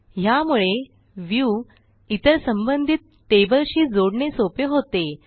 ह्यामुळे व्ह्यू इतर संबंधित टेबलशी जोडणे सोपे होते